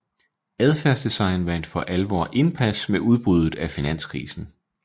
Adfærdsdesign vandt for alvor indpas med udbruddet af finanskrisen